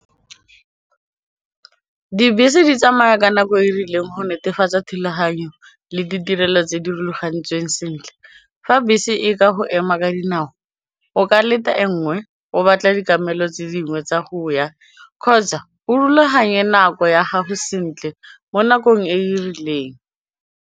Dibese di tsamaya ka nako e rileng go netefatsa thulaganyo le ditirelo tse di rulagantsweng sentle, fa bese e ka go ema ka dinao o ka leta e nngwe o batla ditlamelo tse dingwe tsa go ya kgotsa o rulaganye nako ya gago sentle mo nakong e e rileng.